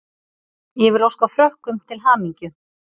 Ég vil óska Frökkum til hamingju.